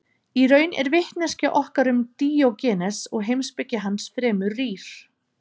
Í raun er vitneskja okkar um Díógenes og heimspeki hans fremur rýr.